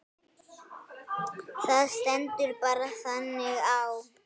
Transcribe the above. Það stendur bara þannig á.